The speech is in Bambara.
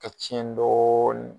Ka tiɲɛ dɔɔnin